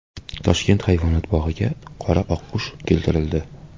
Toshkent hayvonot bog‘iga qora oqqush keltirildi.